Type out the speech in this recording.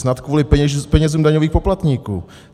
Snad kvůli penězům daňových poplatníků.